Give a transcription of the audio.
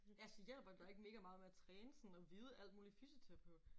Altså hjælper det dig ikke mega meget med at træne sådan at vide alt muligt fysioterapeut